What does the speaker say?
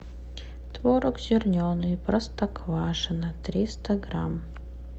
творог зерненый простоквашино триста грамм